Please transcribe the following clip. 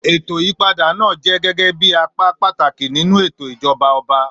ètò ìyípadà náà jẹ́ gẹ́gẹ́ bí apá pàtàkì nínú ètò ìjọba ọba.